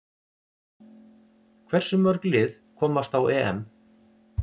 Hversu mörg lið komast á EM?